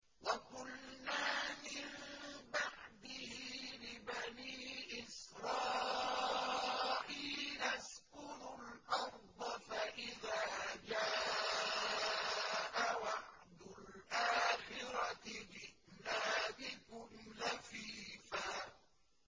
وَقُلْنَا مِن بَعْدِهِ لِبَنِي إِسْرَائِيلَ اسْكُنُوا الْأَرْضَ فَإِذَا جَاءَ وَعْدُ الْآخِرَةِ جِئْنَا بِكُمْ لَفِيفًا